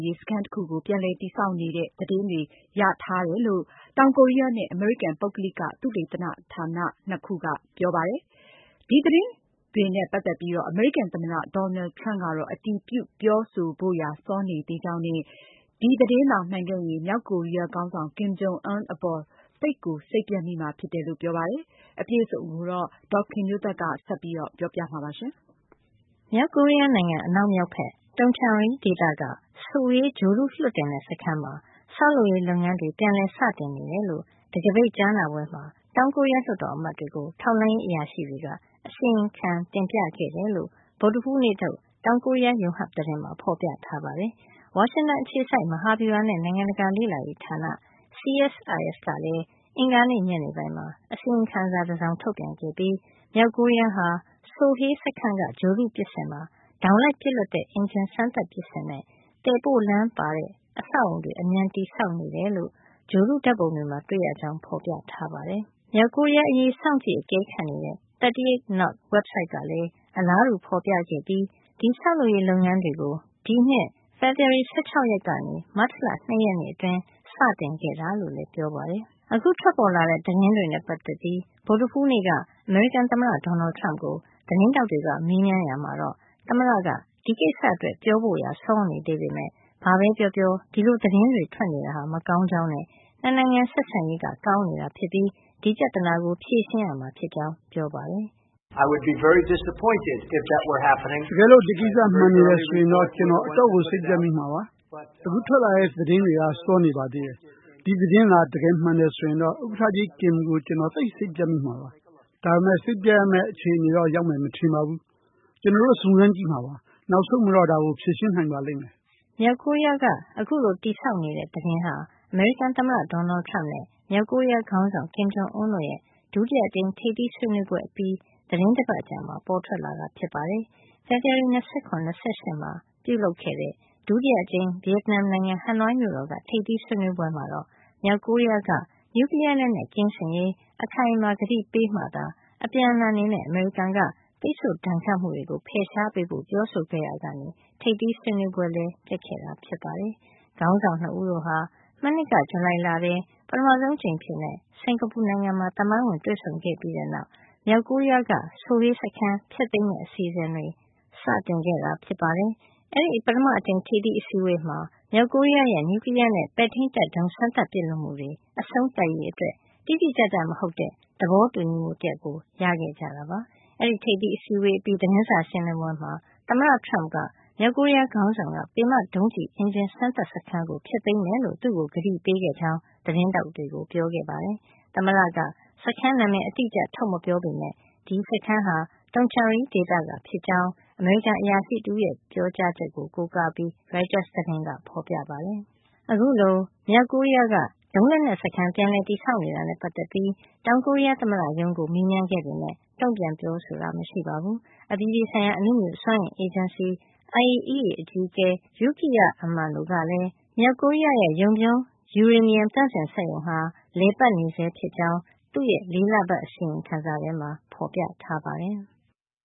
ရေး စခန်းတခုကို ပြန်လည်တည်ဆောက်နေတဲ့ သတင်းတွေ ရထားတယ်လို့ တောင်ကိုရီးယားနဲ့ အမေရိကန် ပုဂ္ဂလိက သုတေသနဌာန ၂ ခု က ပြောပါတယ်။ ဒီသတင်းတွေနဲ့ ပတ်သက်ပြီး အမေရိကန် သမ္မတ Donald Trump ကတော့ အတည်ပြုပြောဆိုဖို့ရာ စောနေသေးကြောင်းနဲ့ ဒီသတင်းသာ မှန်ခဲ့ရင် မြောက်ကိုရီးယားခေါင်းဆောင် Kim Jong Un အပေါ် သိပ်ကို စိတ်ပျက်မိမှာ ဖြစ်ကြောင်း ပြောပါတယ်။ ဒီအကြောင်း အပြည့်အစုံကို ဒေါ်ခင်မျိုးသက်က စုစည်းတင်ပြပေးမှာပါ။ မြောက်ကိုရီးယားနိုင်ငံ အနောက်မြောက်ဖက် Tongchang-ri ဒေသက Sohae ဂြိုဟ်တုလွှတ်တင်တဲ့ စခန်းမှာ ဆောက်လုပ်ရေး လုပ်ငန်းတွေ ပြန်လည်စတင်နေတယ်လို့ တံခါးပိတ်ကြားနာပွဲမှာ တောင်ကိုရီးယား လွှတ်တော်အမတ်တွေကို ထောက်လှမ်းရေး အရာရှိတွေက အစီရင်ခံ တင်ပြခဲ့တာ ဖြစ်ကြောင်း ဗုဒ္ဓဟူးနေ့ထုတ် တောင်ကိုရီးယား Yonhap သတင်းမှာ ဖေါ်ပြထားတာပါ။ ဝါရှင်တန်အခြေစိုက် မဟာဗျုဟာနဲ့ နိုင်ငံတကာ လေ့လာရေးဌာန (CSIS) ကလည်း အင်္ဂါနေ့ညနေပိုင်းမှာ အစီရင်ခံစာ တစောင် ထုတ်ပြန်ခဲ့ပြီး မြောက်ကိုရီးယားဟာ Sohae စခန်းက ဂြိုဟ်တုပစ်စင်မှာ ဒေါင်လိုက်ပစ်လွှတ်တဲ့ အင်ဂျင် စမ်းသပ်ပစ်စင်နဲ့ သယ်ပို့လမ်းပါတဲ့ အဆောက်အအုံ တွေ အမြန်တည်ဆောက်နေကြောင်း ဂြိုဟ်တုဓာတ်ပုံတွေမှာ တွေ့ရတယ်လို့ ဖေါ်ပြထားပါတယ်။ မြောက်ကိုရီးယားအရေး စောင့်ကြည့် အကဲခတ်နေတဲ့ 38 North ဝဘ်ဆိုဒ်ကလည်း အလားတူ ဖေါ်ပြခဲ့ပြီး ဒီဆောက်လုပ်ရေး လုပ်ငန်းတွေ ကို ဒီနှစ် ဖေဖော်ဝါရီ ၁၆ ရက် ကနေ မတ်လ ၂ ရက်နေ့ အတွင်း စတင်ခဲ့တာလို့လည်း ပြောပါတယ်။ အခုထွက်ပေါ်လာတဲ့ သတင်းတွေနဲ့ ပတ်သက်ပြီး ဗုဒ္ဓဟူးနေ့က အမေရိကန်သမ္မတ Donald Trump ကို သတင်းထောက်တွေက မေးမြန်းရာမှာတော့ သမ္မတက ဒီကိစ္စအတွက် ပြောဖို့ရာ စောနေသေးပေမယ့် ဘာပဲပြောပြော ဒီလို သတင်းထွက်နေတာဟာ မကောင်းကြောင်းနဲ့ ၂ နိုင်ငံဆက်ဆံရေး ကောင်းနေတာ ဖြစ်ပြီး ဒီပြဿနာကို ဖြေရှင်းရမှာ ဖြစ်ကြောင်း ပြောပါတယ်။ “တကယ်လို့ ဒီကိစ္စ တကယ်မှန်နေတယ်ဆိုရင်တော့ ကျနော် အတော့်ကို စိတ်ပျက်မိမှာပါ။ အခုထွက်လာတဲ့ သတင်းတွေက စောနေ ပါသေးတယ်။ ဒီသတင်းသာ တကယ် မှန်တယ် ဆိုရင်တော့ ဥက္ကဌကြီး Kim ကို ကျနော်သိပ် စိတ်ပျက်မိမှာပါ။ ဒါပေမယ့် စိတ်ပျက်ရမယ့် အခြေနေတော့ ရောက်မယ် မထင်ပါဘူး။ ကျနော်တို့ စုံစမ်းကြည့်မှာပါ။ နောက်ဆုံးမှာတော့ ဒါကို ဖြေရှင်းနိုင်ပါလိမ့်မယ်။” မြောက်ကိုရီးယားက အခုလို တည်ဆောက်နေတဲ့ သတင်းဟာ အမေရိကန်သမ္မတ Donald Trump နဲ့ မြောက်ကိုရီးယားခေါင်းဆောင် Kim Jong Un တို့ရဲ့ ဒုတိယအကြိမ် ထိပ်သီးဆွေးနွေးပွဲ အပြီး သီတင်းတပတ်အကြာမှာ ပေါ်ထွက်လာတာ ဖြစ်ပါတယ်။ ဖေဖေါ်ဝါရီလ ၂၇ - ၂၈ မှာ ပြုလုပ်ခဲ့တဲ့ ဒုတိယတကြိမ် ဗီယက်နမ်နိုင်ငံ ဟနွိုင်းမြို့တော်က ထိပ်သီးဆွေးနွေးပွဲမှာတော့ မြောက်ကိုရီးယားက နျူကလီးယား လက်နက် ကင်းစင်ရေး အခိုင်အမာ ကတိပေးမှသာ အပြန်အလှန်အနေနဲ့ အမေရိကန်က ပိတ်ဆို့ဒဏ်ခတ်မှုတွေ ဖယ်ရှားပေးဖို့ ပြောဆိုခဲ့ရာက ထိပ်သီးဆွေးနွေးပွဲ ပျက်ခဲ့တာလည်း ဖြစ်ပါတယ်။ ခေါင်းဆောင် ၂ ဦးတို့ဟာ မနှစ်က ဇူလိုင်လထဲ ပထမဆုံးအကြိမ်အဖြစ် စင်္ကာပူနိုင်ငံမှာ သမိုင်းဝင် တွေ့ဆုံခဲ့ပြီးတဲ့နောက် မြောက်ကိုရီးယားက Sohae စခန်း ဖျက်သိမ်းမယ့် အစီအစဉ်တွေ စခဲ့တာ ဖြစ်ပါတယ်။ အဲဒီ ပထမအကြိမ် ထိပ်သီးအစည်းအဝေးမှာ မြောက်ကိုရီးယားရဲ့ နျူကလီးယားနဲ့ ပဲ့ထိန်းတပ်ဒုံး စမ်းသပ်ပစ်လွှတ်မှုတွေ အဆုံးသတ်ရေးအတွက် တိတိကျကျမဟုတ်တဲ့ သဘောတူညီမှု တရပ်ကို ရခဲ့ကြတာပါ။ အဲဒီထိပ်သီးအစည်းဝေး အပြီး သတင်းစာရှင်းလင်းပွဲမှာ သမ္မတ Trump က မြောက်ကိုရီးယား ခေါင်းဆောင်က ပင်မဒုံးကျည် အင်ဂျင် စမ်းသပ်စခန်းကို ဖျက်သိမ်းမယ်လို့ သူ့ကို ကတိပေးခဲ့ကြောင်း သတင်းထောက်တွေကို ပြောခဲ့ပါတယ်။ သမ္မတက စခန်းနာမည် အတိအကျ ထုတ်မပြောပေမယ့် ဒီစခန်းဟာ Tongchang-ri ဒေသကဖြစ်ကြောင်း အမေရိကန် အရာရှိတဦးက ပြောကြောင်း ရိုက်တာ သတင်းက ဆိုပါတယ်။ အခုလို မြောက်ကိုရီးယားက ဒုံးလက်နက်စခန်း ပြန်လည်တည်ဆောက်နေတာနဲ့ ပတ်သက်ပြီး တောင်ကိုရီးယား သမ္မတရုံးကို မေးမြန်ခဲ့ပေမယ့် တုန့်ပြန်ပြောဆိုတာ မရှိပါဘူး။ အပြည်ပြည်ဆိုင်ရာ အနုမြူစွမ်းအင်အေဂျင်စီ IAEA အကြီးအကဲ Yukiya Amano ကလည်း မြောက်ကိုရီးယားဟာ Yongbyon ယူရေနီယံ သန့်စင်စက်ရုံဟာ လည်ပတ်နေဆဲ ဖြစ်ကြောင်း လေးလပတ် အစီရင်ခံစာမှာ ဖေါ်ပြထားပါတယ်။